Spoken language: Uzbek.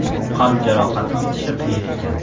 Qalb jarohati bitishi qiyin ekan.